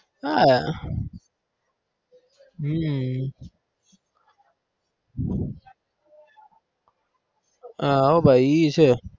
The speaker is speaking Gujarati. હ હમ હ એ ભાઈ છે